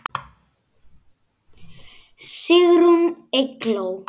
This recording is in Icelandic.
Sigrún Eygló.